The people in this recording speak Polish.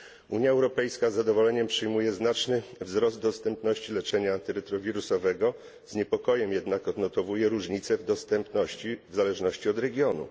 Unia Europejska z zadowoleniem przyjmuje znaczny wzrost dostępności leczenia antyretrowirusowego, z niepokojem jednak odnotowuje różnice w dostępności w zależności od regionu.